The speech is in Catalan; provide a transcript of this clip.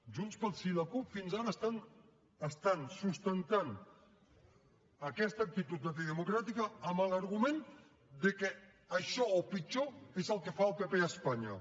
junts pel sí i la cup fins ara estan sustentant aquesta actitud antidemocràtica amb l’argument de que això o pitjor és el que fa el pp a espanya